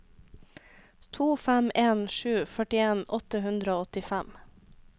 to fem en sju førtien åtte hundre og åttifem